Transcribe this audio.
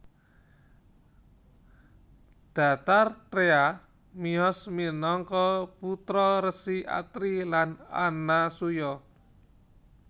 Dattatreya miyos minangka putra Resi Atri lan Anasuya